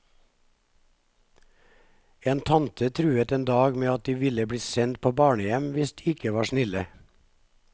En tante truet en dag med at de ville bli sendt på barnehjem hvis de ikke var snille.